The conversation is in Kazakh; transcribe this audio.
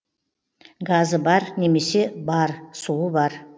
газы бар немесі бар суы бар